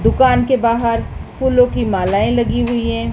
दुकान के बाहर फूलों की मालाएं लगी हुई है।